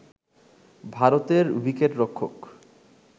ভারতের উইকেটরক্ষক